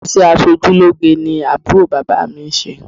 Ìṣe aṣojúlóge ni àbúrò bàbá mi ń ṣe